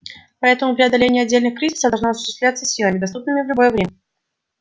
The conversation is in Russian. поэтому преодоление отдельных кризисов должно осуществляться силами доступными в любое время